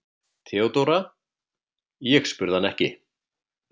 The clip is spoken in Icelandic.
THEODÓRA: Ég spurði hann ekki.